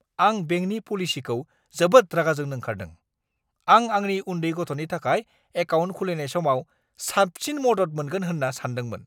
आं बेंकनि पलिसिखौ जोबोद रागा जोंनो ओंखारदों। आं आंनि उन्दै गथ'नि थाखाय एकाउन्ट खुलिनाय समाव साबसिन मदद मोनगोन होन्ना सानदोंमोन।